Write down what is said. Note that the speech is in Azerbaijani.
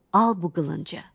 Al bu qılıncı.